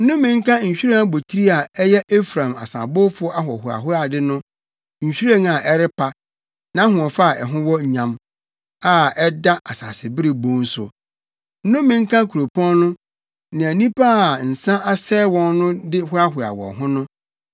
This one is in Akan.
Nnome nka nhwiren abotiri a ɛyɛ Efraim asabowfo ahohoahoade no nhwiren a ɛrepa, nʼahoɔfɛ a ɛho wɔ nyam, a ɛda asasebere bon so. Nnome nka kuropɔn no, nea nnipa a nsa asɛe wɔn no de hoahoa wɔn ho no.